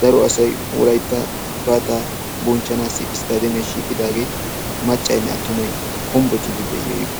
daro asay wolaytta gifaata bonchchanaw isttademiyaa shiiqidaagee maccaynne attumay hombbocciidi de'iyagee..